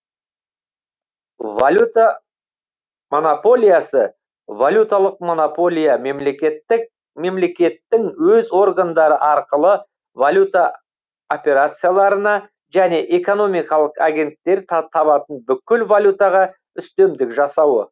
валюта монополиясы валюталық монополия мемлекеттік мемлекеттің өз органдары арқылы валюта операцияларына және экономикалық агенттер табатын бүкіл валютаға үстемдік жасауы